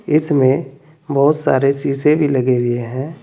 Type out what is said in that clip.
इसमें बहुत सारे सीसे भी लगे हुए हैं।